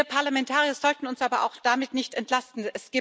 Wir Parlamentarier sollten uns aber auch damit nicht entlasten.